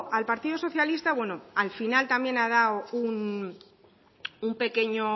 al partido socialista bueno al final también ha dado un pequeño